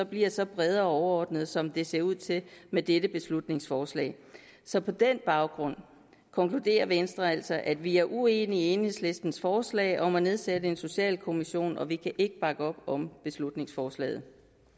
bliver så brede og overordnede som det ser ud til med dette beslutningsforslag så på den baggrund konkluderer venstre altså at vi er uenige i enhedslistens forslag om at nedsætte en socialkommission og vi kan ikke bakke op om beslutningsforslaget